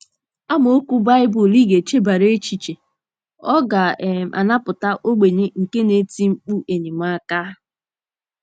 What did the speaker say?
AMAOKWU BAỊBỤL Ị GA - ECHEBARA ECHICHE: “ Ọ ga um - anapụta ogbenye nke na - eti mkpu enyemaka...